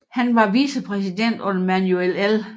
Han var vicepræsident under Manuel L